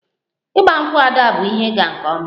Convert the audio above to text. Igba nkwu' Ada bụ ihe ịga nke ọma